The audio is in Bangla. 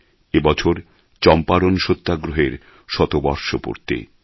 এ বছর চম্পারণ সত্যাগ্রহের শতবর্ষ পূর্তি